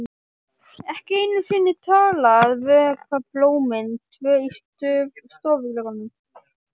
Ekki einu sinni til að vökva blómin tvö í stofuglugganum.